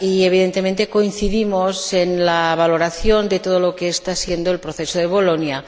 Evidentemente, coincidimos en la valoración de todo lo que está siendo el proceso de Bolonia.